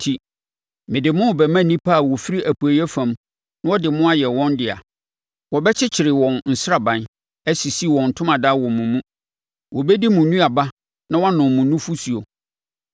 enti, mede mo rebɛma nnipa a wɔfiri Apueeɛ fam na wɔde mo ayɛ wɔn dea. Wɔbɛkyekyere wɔn nsraban, asisi wɔn ntomadan wɔ mo mu; wɔbɛdi mo nnuaba na wɔanom mo nufosuo.